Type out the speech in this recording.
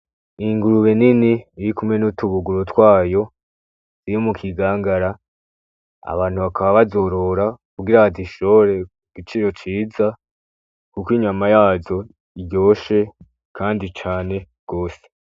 Ingurube nini irikumwe n’utubuguru twayo iri mukigangara , abantu bakaba bazorora kugira bazishore ku biciro vyiza Kuko inyana yazo iryoshe kandi cane gose .